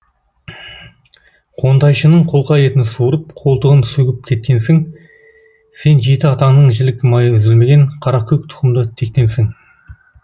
қонтайшының қолқа етін суырып қолтығын сөгіп кеткенсің сен жеті атаңнан жілік майы үзілмеген қаракөк тұқымды тектенсің